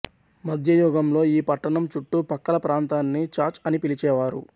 మధ్య యుగంలో ఈ పట్టణం చుట్టు పక్కల ప్రాంతాన్ని ఛాచ్ అని పిలిచేవారు